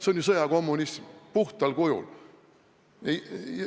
See on ju sõjakommunism puhtal kujul.